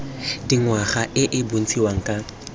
dingwaga e e bontshiwang ka